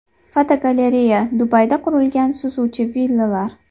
Fotogalereya: Dubayda quriladigan suzuvchi villalar.